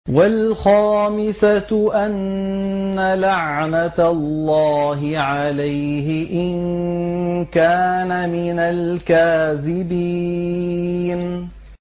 وَالْخَامِسَةُ أَنَّ لَعْنَتَ اللَّهِ عَلَيْهِ إِن كَانَ مِنَ الْكَاذِبِينَ